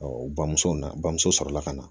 bamuso na bamuso sɔrɔla ka na